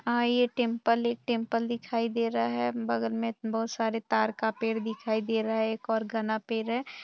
आइए टेम्पल ए टेम्पल दिखाई दे रहा है बगल में बहुत सारे तार का पेड़ दिखाई दे रहा है एक और घाना पेड़ है।